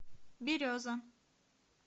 береза